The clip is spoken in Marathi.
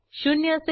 ब्राऊजरवर जाऊ